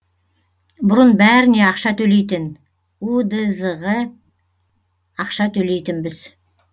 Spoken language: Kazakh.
бұрын бәріне ақша төлейтін удз ге ақша төлейтінбіз